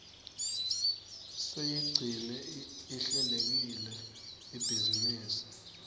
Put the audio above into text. siyigcine ihlelekile ibhizinisi